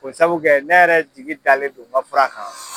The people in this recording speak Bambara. O sabu kɛ ne yɛrɛ jigin dalen do n ka fura kan.